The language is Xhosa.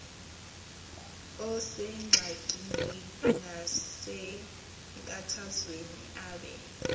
osengxakini nasenkathazweni abe